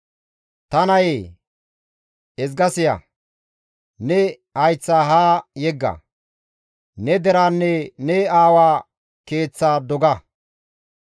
Ta nayee, ezga siya; ne hayththa haa yegga. Ne deraanne ne aawaa keeththa doga.